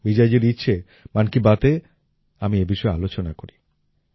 বিজয়জীর ইচ্ছে মন কী বাতএ আমি এ বিষয়ে আলোচনা করি